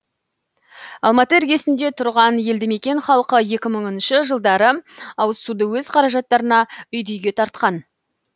алматы іргесінде тұрған елді мекен халқы екі мыңыншы жылдары ауызсуды өз қаражаттарына үйді үйге тартқан